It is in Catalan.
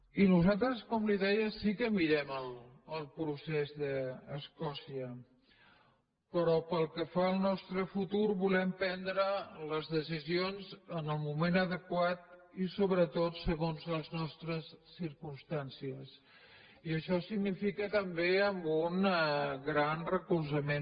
i nosaltres com li deia sí que mirem el procés d’escòcia però pel que fa al nostre futur volem prendre les decisions en el moment adequat i sobretot segons les nostres circumstàncies i això significa també amb un gran recolzament